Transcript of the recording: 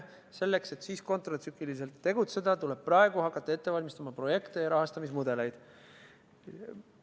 Selleks, et siis kontratsükliliselt tegutseda, tuleb praegu hakata projekte ja rahastamismudeleid ette valmistama.